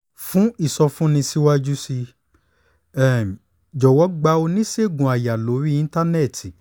fún ìsọfúnni síwájú sí um i jọ̀wọ́ gba oníṣègùn àyà lórí internet